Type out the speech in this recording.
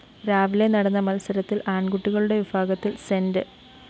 രാവിലെ നടന്ന മത്സരത്തില്‍ ആണ്‍കുട്ടികളുടെ വിഭാഗത്തില്‍ സെന്റ്